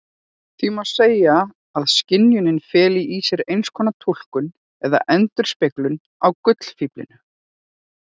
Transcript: Því má segja að skynjunin feli í sér einskonar túlkun eða endurspeglun á gullfíflinum.